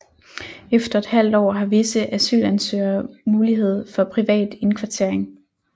Efter et halvt år har visse asylansøgere mulighed for privat indkvartering